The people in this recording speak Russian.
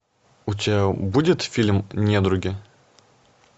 у тебя будет фильм недруги